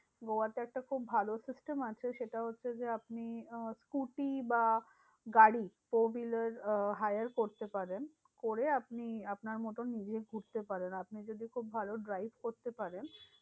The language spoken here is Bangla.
গোয়াতে একটা খুব ভালো system আছে। সেটা হচ্ছে যে, আপনি আহ scooty বা গাড়ি four wheeler hire করতে পারেন। করে আপনি আপনার মতন নিজে ঘুরতে পারেন। আপনি যদি খুব ভালো drive করতে পারেন।